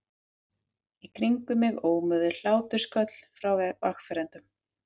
Í kringum mig ómuðu hlátrasköll frá vegfarendum.